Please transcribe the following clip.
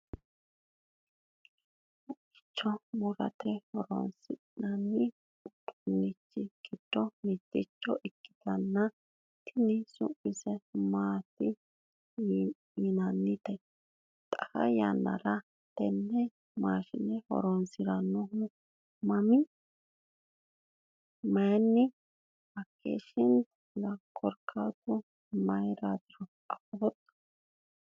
haqqa murate horonsi'nanni uduunnichi giddo mitte ikkitnoti tini su'mise maati yinannite? xaa yannara tenne maashine horonsiranno manni hakkeshshaantilla korkaatu mayiiraatiro afooto?